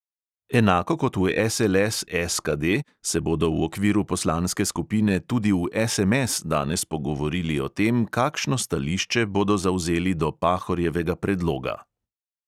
Enako kot v SLS SKD se bodo v okviru poslanske skupine tudi v SMS danes pogovorili o tem, kakšno stališče bodo zavzeli do pahorjevega predloga.